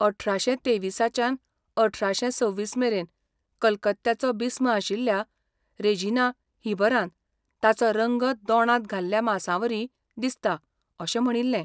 अठराशे तेविसाच्यान अठराशे सव्वीस मेरेन कलकत्त्याचो बिस्म आशिल्ल्या ,रेजिनाल्ह हीबरान, ताचो रंग दोणांत घाल्ल्या मांसावरी दिसता अशें म्हणिल्लें.